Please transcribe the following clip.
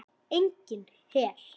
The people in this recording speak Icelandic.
Enginn her.